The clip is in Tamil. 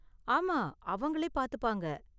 ஆமா, அவங்களே பாத்துப்பாங்க.